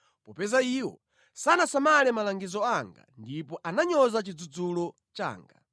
popeza iwo sanasamale malangizo anga ndipo ananyoza chidzudzulo changa.